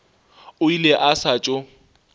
o ile a sa tšo